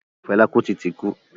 Fẹlá Kútì ti kú.